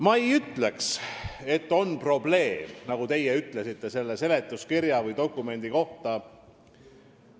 Ma ei ütleks, et meil on probleem, nagu teie ütlesite, selle seletuskirja või dokumendi koha pealt.